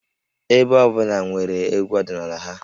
Ebo ọ bụla nwere egwú ọdịnala ha